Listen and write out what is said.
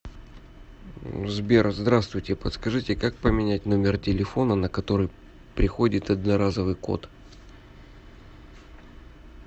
сбер здравствуйте подскажите как поменять номер телефона на который приходит одноразовый код